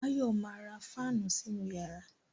Báyọ̀ ma ra fáànù sínú yàrá